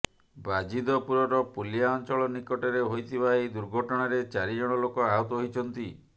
ବାଜିଦପୁରର ପୁଲିଆ ଅଞ୍ଚଳ ନିକଟରେ ହୋଇଥିବା ଏହି ଦୁର୍ଘଟଣାରେ ଚାରି ଜଣ ଲୋକ ଆହତ ହୋଇଛନ୍ତି